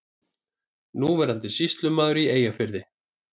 Núverandi sýslumaður í Eyjafirði.